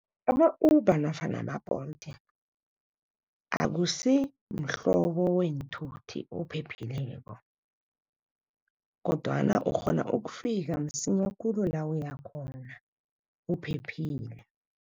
Ama-Uber nofana ama-Bolt akusi mhlobo weenthuthi ophephileko kodwana ukghona ukufika msinya khulu la uyakhona uphephile.